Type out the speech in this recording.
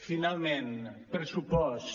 finalment pressupost